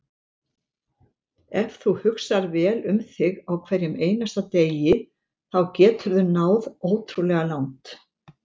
Ef þú hugsar vel um þig á hverjum einasta degi þá geturðu náð ótrúlega langt.